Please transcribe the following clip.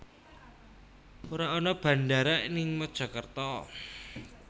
Ora ana bandara ning Mojokerto